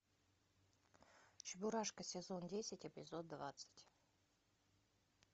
чебурашка сезон десять эпизод двадцать